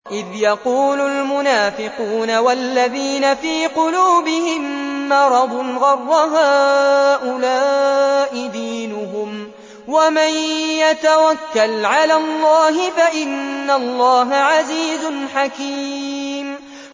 إِذْ يَقُولُ الْمُنَافِقُونَ وَالَّذِينَ فِي قُلُوبِهِم مَّرَضٌ غَرَّ هَٰؤُلَاءِ دِينُهُمْ ۗ وَمَن يَتَوَكَّلْ عَلَى اللَّهِ فَإِنَّ اللَّهَ عَزِيزٌ حَكِيمٌ